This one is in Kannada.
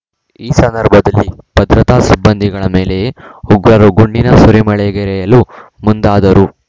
ಈ ಸಂದರ್ಭದಲ್ಲಿ ಭದ್ರತಾ ಸಿಬ್ಬಂದಿಗಳ ಮೇಲೆಯೇ ಉಗ್ರರು ಗುಂಡಿನ ಸುರಿಮಳೆಗೆರೆಯಲು ಮುಂದಾದರು